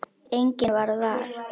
Enginn varð var.